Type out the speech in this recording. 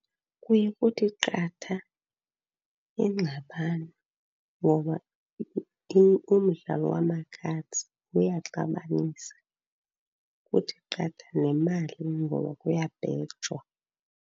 Kuye kuthi qatha ingxabano ngoba umdlalo wama-cards uyaxabanisa. Kuthi qatha nemali ngoba kuyabhejwa.